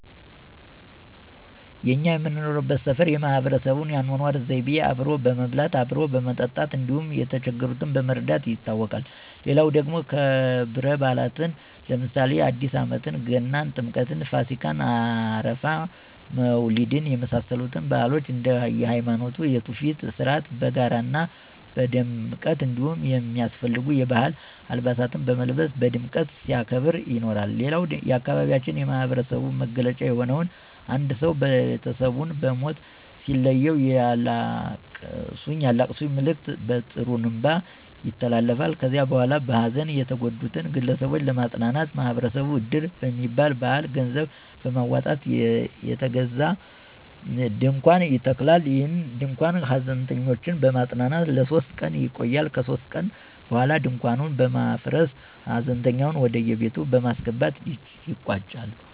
እኛ የምንኖርበት ሠፈር የማህበረሰቡ የአኖኖር ዘይቤው አብሮ በመብላት፣ አብሮ በመጠጣት እንዲሁም የተቸገሩትን በመርዳት ይታወቃል። ሌላው ደግሞ ከብረባእላትን ለምሳሌ አዲስአመት፣ ገና፣ ጥምቀት፣፣ ፋሲካ፣ አረፋ፣ መውሊድ የመሳሰሉትን ባህሎች እንደየሀይማኖቱ የቱፊት ሥርአት በጋራ ና በድምቀት እንዲሁም የሚያስፈልጉ የባህል አልባሳትን በመልበስ በድምቀት ሲያከብር ይኖራል። ሌላው የአካባቢያችን የማህበረሰቡ መገለጫ የሆነው አንድ ሰው ቤተሰቡን በሞት ሲለየው የአላቅሱኝ መልእክት በጥሩንባ ይተላለፋል ከዚያ በኋላ በሀዘን የተጎዱትን ግለሰቦች ለማጽናናት ማህበረሰብ እድር በሚባል ባህል ገንዘብ በማውጣት የተገዛ ድንኳን ይተከላል። ይህ ድንኳን ሀዘንተኞችን በማፅናናት ለሶስት ቀን ይቆያል ከሶስት ቀን በኋላ ድንኳኑን በማፍረስ ሀዘንተኞችን ወደቤት በማስገባት ይቋጫል።